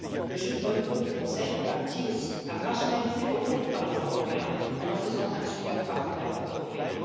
Le jeu de bonneteau du Conseil aboutit aussi à marginaliser le rôle du Parlement européen, en en faisant un junior partner européen.